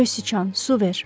Göy siçan, su ver.